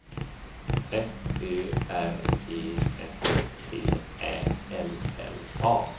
F Ö R E S T Ä L L A